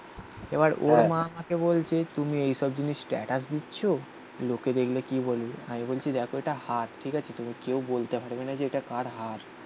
এবার ওর মা আমাকে বলছে তুমি এইসব জিনিস স্ট্যাটাস দিচ্ছ. লোকে দেখলে কি বলবে? আমি বলছি দেখো এটা হাত. ঠিক আছে. তুমি বলতে পারবে না যে এটা কার হাত